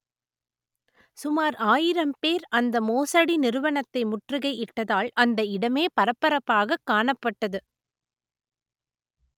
சுமார் ஆயிரம் பேர் அந்த மோசடி நிறுவனத்தை முற்றுகை இட்டதால் அந்த இடமே பரபரப்பாகக் காணப்பட்டது